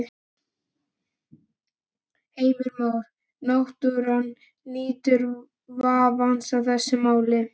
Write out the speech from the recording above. Heimir Már: Náttúran nýtur vafans í þessu máli?